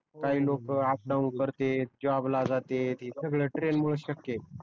काही लोक up down करते जॉब ला जाते सगळे ट्रेन मुळे शक्य आहे